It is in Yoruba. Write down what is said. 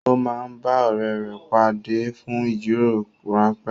Ó máa ń bá ọ̀rẹ́ rẹ pàdé fún ìjíròrò rán pé